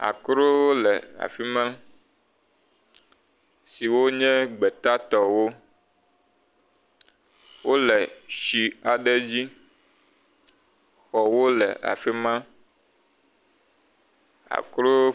Akrowo le afi ma, siwo nye gbeta tɔwo, wole shi aɖe dzi, xɔwo le afi ma, akro…